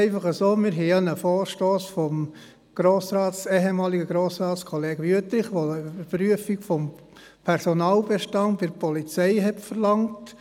Der ehemalige Grossrat Wüthrich hat einen Vorstoss eingereicht, der eine Prüfung des Personalbestands bei der Polizei verlangt